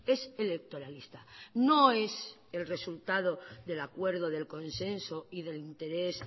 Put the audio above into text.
es electoralista no es el resultado del acuerdo del consenso y del interés